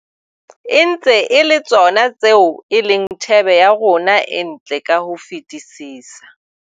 E ntse e le tsona tseo e leng thebe ya rona e ntle ka ho fetisisa.